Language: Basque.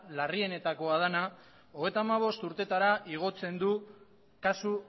larrienetakoa dena hogeita bost urtetara igotzen du kasu